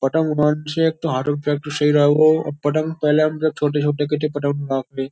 पतंग से एक तो हाथों की प्रैक्टिस सही रहा वो पतंग पहले हम जब छोटे-छोटे के थे ।